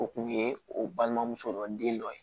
O kun ye o balimamuso dɔ den dɔ ye